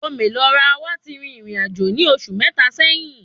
Ome Lo Ra wà tí rìn ìrìnàjò ní oṣù mẹta sẹ́yín